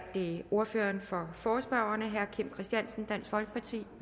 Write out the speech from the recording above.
det ordføreren for forespørgerne herre kim christiansen dansk folkeparti